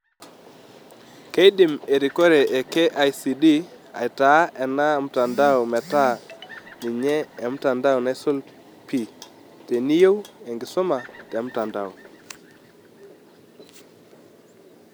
Keidim erikore e KICD aitaa ena mtandao metaa ninye emtandao naisul pii teniyeu enkisuma temtandao.